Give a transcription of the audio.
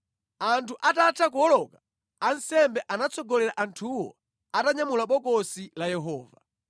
Anthu atatha kuwoloka, ansembe anatsogolera anthuwo atanyamula Bokosi la Yehova.